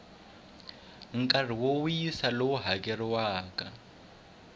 nkarhi wo wisa lowu hakeleriwaka